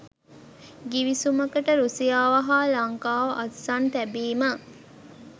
ගිවිසුමකට රුසියාව හා ලංකාව අත්සන් තැබීම